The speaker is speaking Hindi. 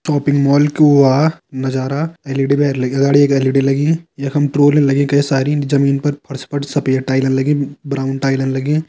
शॉपिंग मोल कु आ नजारा लगी है सारी जमीन परफर्श पर सफेद टाइले लगी हैब्राउन टाइले लगी हैं।